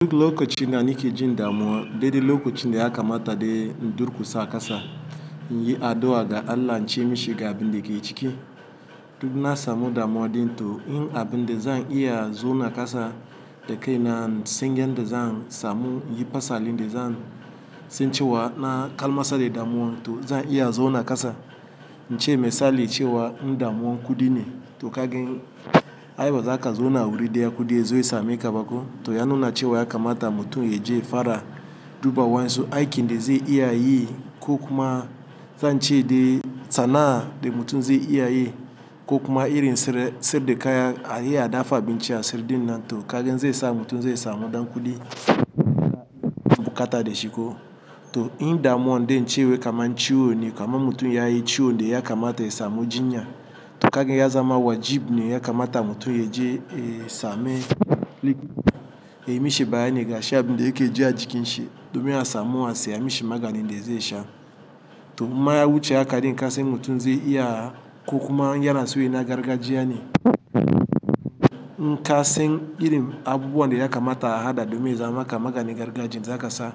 Duk lokacin na nike jin damuwa, daidai lokacin da ya kamata dai in durkusa a ƙasa, in yi addu'a ga Allah in ce mishi ga abin da ke ciki. Duk na samu damuwa din to in abin da zan iya zauna na ƙasa da kai na singin da zan samu, yi fasalin da zan sancewa na kalmasa da damuwa to zan iya zuwa na ƙasa. In ce mai sali cewa damuwa kudi ne, to kagen ayaba za ka zo na wuri dai akudiya zai same ka baƙo. To ya nuna cewa ya kamata mutum ya je fada duba wansu aiki da zai iya yi ko kuma zan ce dai tsana da mutum zai iya yi ko kuma irin sirri da ka iya dafa abinci a sirri din nan to kagen zai sa mutum zai samu dan kudi. Bukata da shiko. To in damuwa dai in ce wai kama ciwo ne, kama mutum ya yi ciwo dai ya kamata ya samu jinya. To kagen ya zama wajib ne ya kamata mutum ya je ya same likita. Ya yi mishi bayani ga shi abin da yake ji a jikinshi domin ya samu asiya mishi magani da zai sha. To imma yawuce aka ɗin kasan mutum zai iya ko kuma in yana so yayi na gargajiya ne. Kasan irin abubuwan da ya kamata a haɗa domin yaza ma maka maganin gargajiya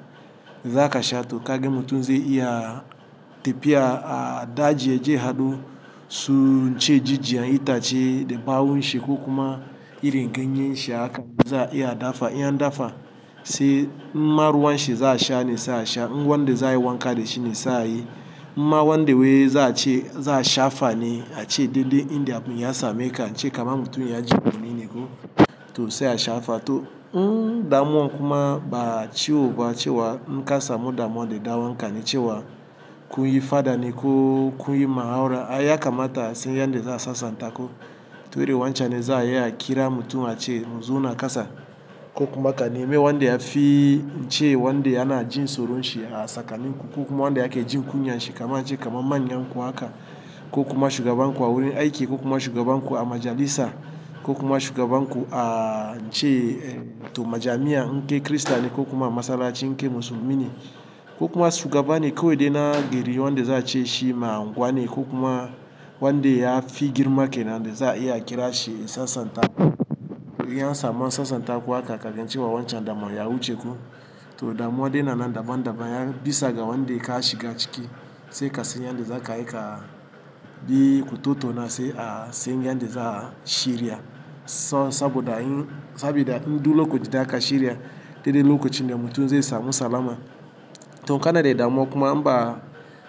za ka sha to kaga mutum zai iya tafiya a daji ya je haɗo su ince jijiyan ita ce da ɓawon shi ko kuma irin ganyen shi haka za a iya dafa. In an dafa sai imma ruwan shi za a sha ne sai a sha. In wanda da za a yi wanka da shi ne sai a yi. Imma wanda wai za a ce za'a shafane ace duddai in da mutum ya same ka ince kaman mutum ya ji guni ne ko to sai a sha fa. To, in damuwa kuma ba ciwo ba cewa inka samu damuwa da ɗan wanka cewa kun yi faɗa ne ko kun yi muhawara, ya kamata asan yanda za a sassanta ko. To iri wancan ne za a iya a kira mutum a ce mu zauna na ƙasa ko kuma ka nemi wanda ya fi in ce wanda yana jin tsoron shi a tsakanin ku ko kuma wanda yake jin kunyan shi kama in ce kama manyan ku haka ko kuma shugaban ku a wurin aiki ko kuma shugaban ku a majalisa ko kuma shugaban ku a in ce to majami'a inkai Kirista ne ko kuma masallaci inkai musulmi ne. Ko kuma shugaba ne ko dai na gari wanda za a ce shi ma unguwa ne ko kuma wanda ya fi girma ke nan da za a iya a kira shi ya sassanta. In an samu a sassanta ku haka kagen cewa wancan damuwa ya wuce ko. To damuwa dai yana nan daban daban ya bisa ga wanda ka shiga ciki sai ka san yanda za ka aika bi ku tattauna sai a san yanda za a shirya. Saboda in duk lokaci da aka shirya daidai lokacin da mutum zai samu salama. To kana dai damuwa kuma in ba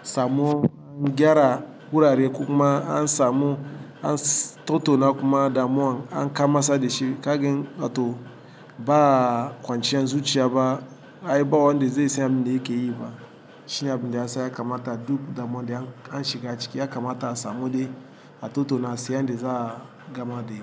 samu an gyara wurare ko kuma an samu an tattauna kuma damuwa an kamasa da shi kagen to ba kwanciyar zurciya ba aiba wanda zai san mi yake yi fa. Shine abinda yasa kamata duk damuwa dai an shiga ciki ya kamata a samu dai a tattauna sai yanda za a gama dai.